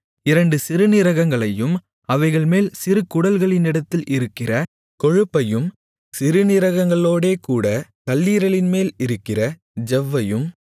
இரண்டு சிறுநீரகங்களையும் அவைகள்மேல் சிறு குடல்களினிடத்தில் இருக்கிற கொழுப்பையும் சிறுநீரகங்களோடேகூடக் கல்லீரலின்மேல் இருக்கிற ஜவ்வையும்